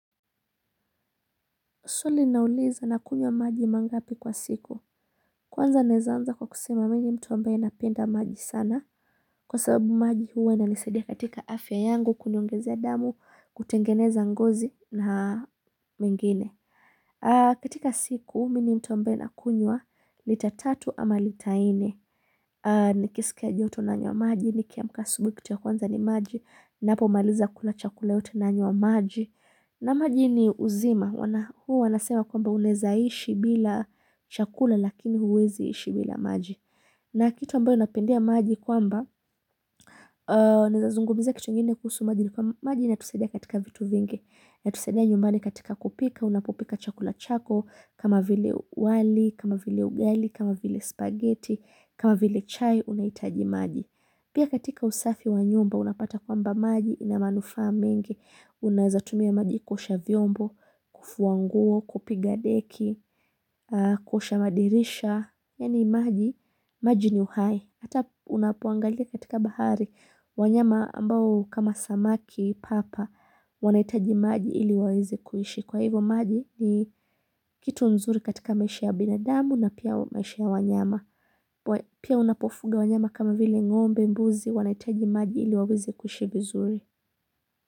Swali nauliza nakunywa maji mangapi kwa siku. Kwanza naweza anza kwa kusema mimi ni mtu ambaye napenda maji sana. Kwa sababu maji huwa inanisaidia katika afya yangu kuniongezea damu, kutengeneza ngozi na mengine. Katika siku, mimi ni mtu ambaye nakunywa, lita tatu ama lita nne. Nikisikia joto nanywa maji, nikiamka asubuhi kitu ya kwanza ni maji, ninapomaliza kula chakula yote nanywa maji. Na maji ni uzima, huwa wanasema kwamba unaweza ishi bila chakula lakini huwezi ishi bila maji. Na kitu ambayo napendea maji kwamba, naweza zungumzia kitu ngine kuhusu maji ni kwamba maji inatusaidia katika vitu vingi. Inatusaidia nyumbani katika kupika, unapopika chakula chako, kama vile wali, kama vile ugali, kama vile spaghetti, kama vile chai, unahitaji maji. Pia katika usafi wa nyumba unapata kwamba maji ina manufaa mengi, unaweza tumia maji kuosha vyombo, kufua nguo, kupiga deki, kuosha madirisha, yaani maji, maji ni uhai. Hata unapoangalia katika bahari, wanyama ambao kama samaki papa wanahitaji maji ili waweze kuishi. Kwa hivyo maji ni kitu mzuri katika maisha ya binadamu na pia maisha ya wanyama. Pia unapofuga wanyama kama vile ngombe mbuzi wanahitaji maji ili waweze kuishi vizuri.